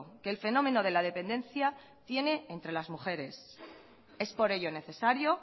que el fenómeno de la dependencia tiene entre las mujeres es por ello necesario